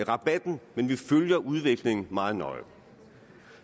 rabatten men vi følger udviklingen meget nøje